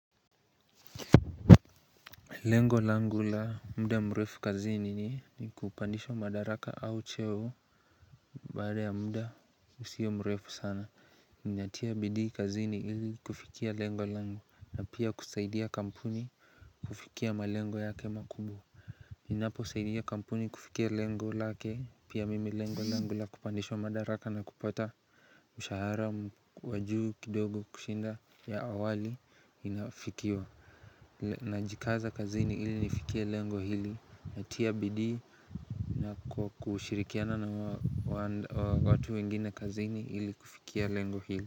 Lengo langu la muda mrefu kazini ni kupandishwa madaraka au cheo Baada ya muda usio mrefu sana Ninatia bidii kazini ili kufikia lengo langu na pia kusaidia kampuni kufikia malengo yake makubwa Ninaposaidia kampuni kufikia lengo lake pia mimi lengo langu la kupandishwa madaraka na kupata mshahara wa juu kidogo kushinda ya awali inafikiwa Najikaza kazini ili nifikie lengo hili. Natia bidii na kushirikiana na watu wengine kazini ili kufikia lengo hili.